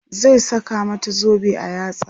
zai saka mata zobe a yatsa